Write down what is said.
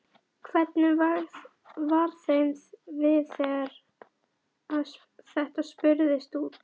Hvernig var þeim við þegar að þetta spurðist út?